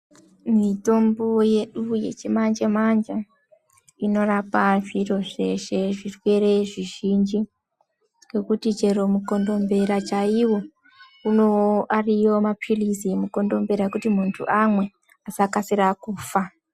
Mitombo yedu yechimanje manje inorapa zviro zveshe zvirwere zvizhinji nhekuti chero mukondombera chaiwo ariyo mapilizi emukondombera ekuti muntu amwe asakasira kufa.